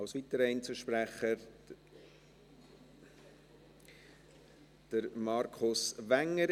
Als weiterer Einzelsprecher, Markus Wenger.